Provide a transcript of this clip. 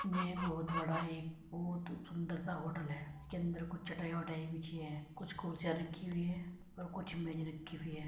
यह बोहोत बहु बड़ा एक बोहोत सुंदर सा होटल है| इसके अंदर कुछ चटाई वटाई बिछी है | कुछ कुर्सियां रखी हुई है और कुछ मेज रखी हुई है।